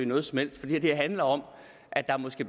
noget som helst fordi det her handler om at der måske